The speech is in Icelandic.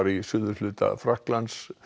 í suðurhluta Frakklands